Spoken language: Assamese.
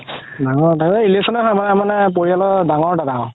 ডাঙৰ মানে পৰিয়ালৰ ডাঙৰ দাদা